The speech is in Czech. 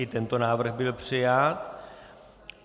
I tento návrh byl přijat.